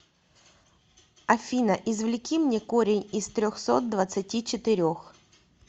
афина извлеки мне корень из трехсот двадцати четырех